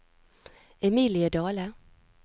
Emilie Dahle